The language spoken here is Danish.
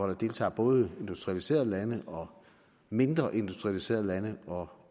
der deltager både industrialiserede lande mindre industrialiserede lande og